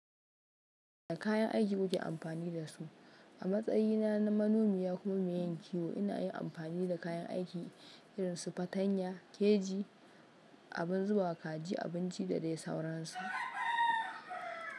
Da kayan aiki muke amfani da su. A matsayina na manomi kuma mai yin kiwo ina yin amfani da kayan aiki irin su fatanya, keji, abun zuba kaji, abinci da dai sauransu.